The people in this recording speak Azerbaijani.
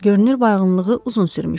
Görünür bayğınlığı uzun sürmüşdü.